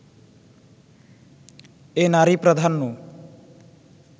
এ নারী-প্রাধান্য